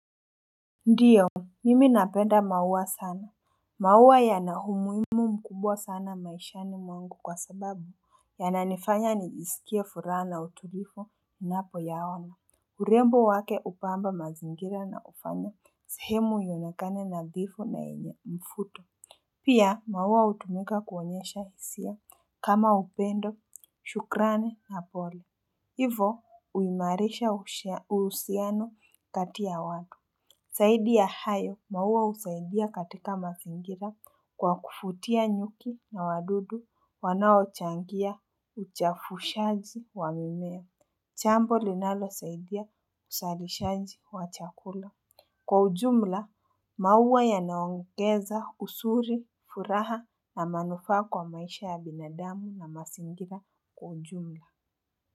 Ndiyo, mimi napenda maua sana, maua yana umuhimu mkubwa sana maishani mwangu kwa sababu yananifanya nijisikie furaha na uturivu ninapoyaona. Urembo wake hupamba mazingira na kufanya sehemu ionekane nadhifu na yenye mfuto. Pia, maua hutumika kuonyesha hisia kama upendo, shukrani na pole hivo huimarisha uhusiano kati ya watu, zaidi ya hayo maua husaidia katika mazingira kwa kuvutia nyuki na wadudu wanaochangia uchafushaji wa mimea. Jambo linalosaidia uzalishaji wa chakula. Kwa ujumla, maua yanaongeza usuri, furaha na manufaa kwa maisha ya binadamu na mazingira kwa ujumla.